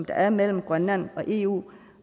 er mellem grønland og eu